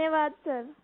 धन्यवाद सर